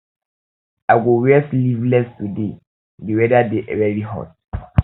i go wear sleevless today di weather dey very hot